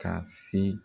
Ka se